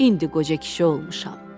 İndi qoca kişi olmuşam.